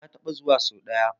Eh na taɓa zuwa so ɗaya.